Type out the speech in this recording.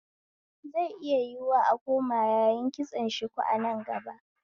Zai yiwu a koma yayin kitson shuku a nan gaba